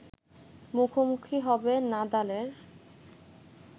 মুখোমুখি হবে নাদালের